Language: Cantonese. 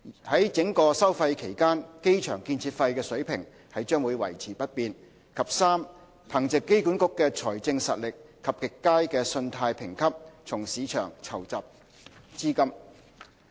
於整個收費期間，機場建設費水平將維持不變；及3憑藉機管局的財政實力及極佳的信貸評級，從市場籌集資金。